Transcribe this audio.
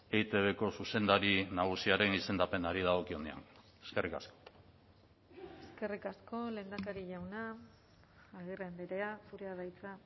eitbko zuzendari nagusiaren izendapenari dagokionean eskerrik asko eskerrik asko lehendakari jauna agirre andrea zurea da hitza